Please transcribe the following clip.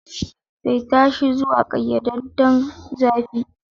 Saita shi zuwa ƙayyadadden zafi.